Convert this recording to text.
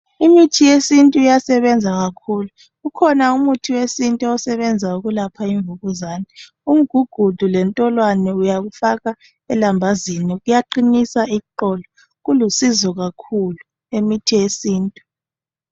Imithi yesintu iyasebenza kakhulu. Ukhona umuthi wesintu osebenza ukulapha imvukuzane . Umgugudu lentolwane uyakufaka elambazini kuyaqinisa iqolo. Kulusizo kakhulu imithi yesintu.